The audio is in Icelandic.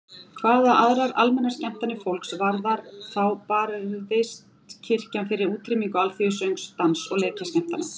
Hvað aðrar almennar skemmtanir fólks varðar þá barðist kirkjan fyrir útrýmingu alþýðusöngs, dans- og leikskemmtana.